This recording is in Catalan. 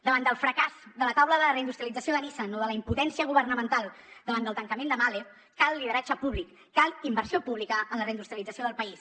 davant del fracàs de la taula de reindustrialització de nissan o de la impotència governamental davant del tancament de mahle cal lideratge públic cal inversió pública en la reindustrialització del país